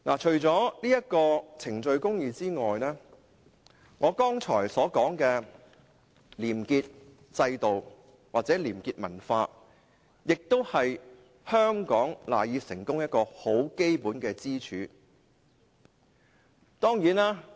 除了程序公義外，我剛才所說的廉潔制度或廉潔文化，也是香港賴以成功的基本支柱。